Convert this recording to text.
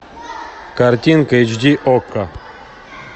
картинка эч ди окко